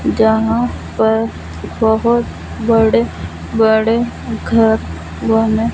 जहां पर बहोत बड़े बड़े घर बने--